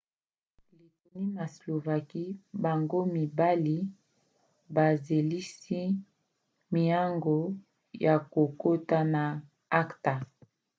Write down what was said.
lettonie na slovaquie bango mibali bazelisi miango ya kokota na acta